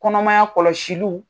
Kɔnɔmaya kɔlɔsiliw.